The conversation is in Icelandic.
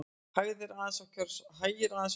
Hægir aðeins á kjörsókn